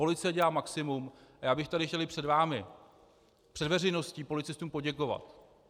Policie dělá maximum a já bych tady chtěl i před vámi, před veřejností, policistům poděkovat.